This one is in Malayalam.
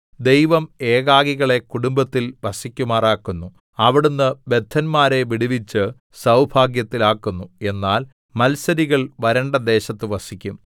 ദൈവം ഏകാകികളെ കുടുംബത്തിൽ വസിക്കുമാറാക്കുന്നു അവിടുന്ന് ബദ്ധന്മാരെ വിടുവിച്ച് സൗഭാഗ്യത്തിലാക്കുന്നു എന്നാൽ മത്സരികൾ വരണ്ട ദേശത്ത് വസിക്കും